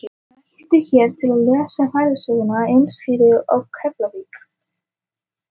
Smelltu hér til að lesa ferðasöguna á heimasíðu Keflavík.